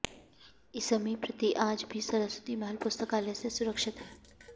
इसमी प्रति आज भी सरस्वती महल पुस्तकालय से सुरक्षित है